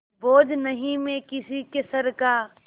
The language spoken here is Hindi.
बोझ नहीं मैं किसी के सर का